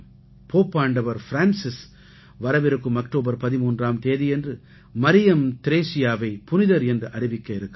போப்பாண்டவர் Francis வரவிருக்கும் October 13ஆம் தேதியன்று மரியம் த்ரேஸியாவை புனிதர் என்று அறிவிக்க இருக்கிறார்